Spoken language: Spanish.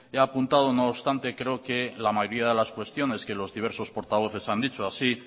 he apuntado no obstante creo que la mayoría de las cuestiones que los diversos portavoces han dicho así